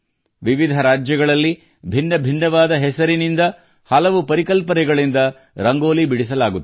ವಿವಿಧ ರಾಜ್ಯಗಳನ್ನು ಭಿನ್ನ ಭಿನ್ನವಾದ ಹೆಸರಿನಿಂದ ಹಲವು ಪರಿಕಲ್ಪನೆಗಳಿಂದ ರಂಗೋಲಿ ಬಿಡಿಸಲಾಗುತ್ತದೆ